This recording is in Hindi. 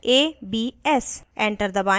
enter दबाएं